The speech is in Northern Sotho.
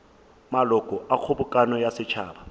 maloko a kgobokano ya setšhaba